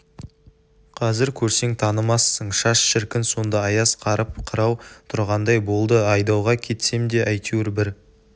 қазір көрсең танымассың шаш шіркін сонда аяз қарып қырау тұрғандай болды айдауға кетсем де әйтеуір бір